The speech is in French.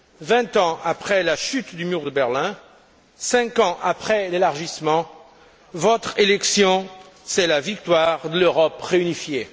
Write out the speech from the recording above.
Vingt ans après la chute du mur de Berlin, cinq ans après l'élargissement, votre élection est la victoire de l'Europe réunifiée.